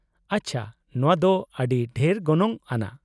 -ᱟᱪᱪᱷᱟ ᱾ ᱱᱚᱶᱟ ᱫᱚ ᱟᱹᱰᱤ ᱰᱷᱮᱨ ᱜᱚᱱᱚᱝ ᱟᱱᱟᱜ ᱾